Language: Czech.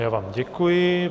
Já vám děkuji.